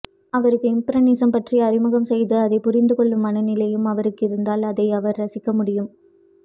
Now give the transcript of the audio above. அவருக்கு இம்பிரஷனிசம் பற்றி அறிமுகம் செய்து அதை புரிந்துகொள்ளும் மனநிலையும் அவருக்கிருந்தால் அதை அவர் ரசிக்க முடியும்